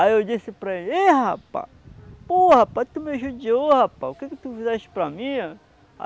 Aí eu disse para ele, ei, rapaz, pô rapaz, tu me ajudou, rapaz, o que tu fizeste para mim?